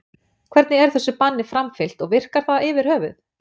Hvernig er þessu banni framfylgt og virkar það yfir höfuð?